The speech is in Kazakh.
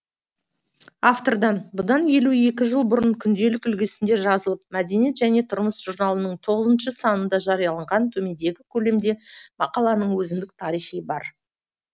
автордан бұдан елу екі жыл бұрын күнделік үлгісінде жазылып мәдениет және тұрмыс журналының тоғызыншы санында жарияланған төмендегі көлемде мақаланың өзіндік бар